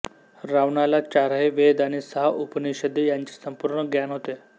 रावणाला चारही वेद आणि सहा उपनिषदे याचे संपूर्ण ज्ञान होते